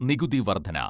നികുതി വർധന